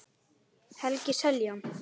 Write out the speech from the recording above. Helgi Seljan.